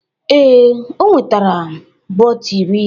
Ee, o nwetara bọtl iri